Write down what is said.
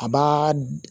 A b'aaa